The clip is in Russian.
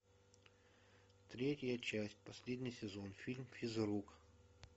третья часть последний сезон фильм физрук